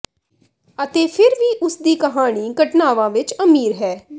ਅਤੇ ਫਿਰ ਵੀ ਉਸਦੀ ਕਹਾਣੀ ਘਟਨਾਵਾਂ ਵਿੱਚ ਅਮੀਰ ਹੈ